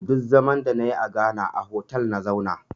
Duk zaman da na yi a Ghana a hotal na zauna